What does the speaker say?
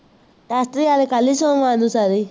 ਵਾਲੇ ਕੱਲ੍ਹ ਹੀ ਸਾਰੇ